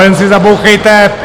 Jen si zabouchejte!